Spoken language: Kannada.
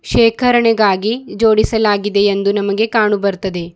ಶೇಖರಣೆಗಾಗಿ ಜೋಡಿಸಲಾಗಿದೆ ಎಂದು ನಮಗೆ ಕಾಣು ಬರ್ತದೆ.